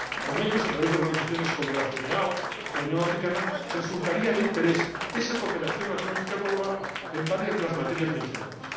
con ellos, a través de organizaciones como la Cedeao o la Unión Africana, resultaría de interés esa cooperación atlántica global en varias de las materias mencionadas.